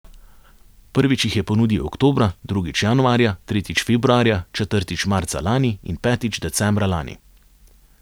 Prvič jih je ponudil oktobra, drugič januarja, tretjič februarja, četrtič marca lani in petič decembra lani.